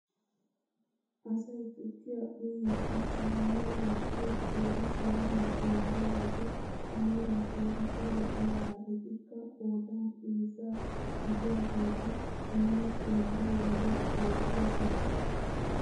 Asay tukkiyaa uyiidi siiniyaa wottiyoo qeeri sayniyaa xeelliyoo wode a meray keehiippe lo"iyaagaa. etikka qoodan heezzaa gidiyaageti nuuni xeelliyoo wode beettoosona.